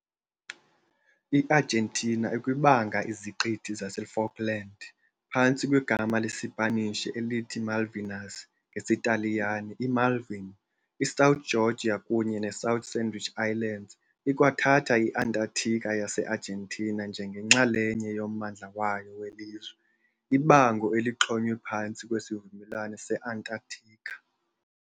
I-Argentina ikwabanga iZiqithi zaseFalkland phantsi kwegama lesiSpanish elithi Malvinas, ngesiTaliyane iMalvine, iSouth Georgia kunye neSouth Sandwich Islands. Ikwathatha i-Antarctica yase-Argentina njengenxalenye yommandla wayo welizwe, ibango elixhonywe phantsi kweSivumelwano se-Antarctica.